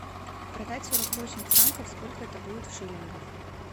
продать сорок восемь франков сколько это будет в шиллингах